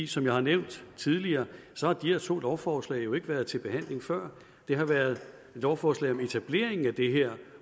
som jeg har nævnt tidligere har de her to lovforslag jo ikke været til behandling før det har været lovforslag om etableringen af det her